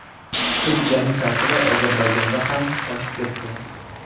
Turkiyaning ta’siri Ozarbayjonda ham oshib ketdi.